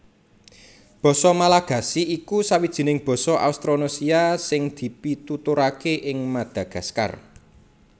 Basa Malagasy iku sawijining basa Austronésia sing dipituturaké ing Madagaskar